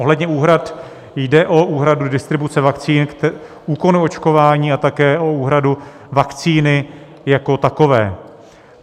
Ohledně úhrad jde o úhradu distribuce vakcín, úkonů očkování a také o úhradu vakcíny jako takové.